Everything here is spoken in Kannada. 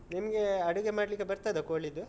ನಿಮ್ಗೆ ಅಡುಗೆ ಮಾಡ್ಲಿಕ್ಕೆ ಬರ್ತದಾ ಕೋಳಿದ್ದು?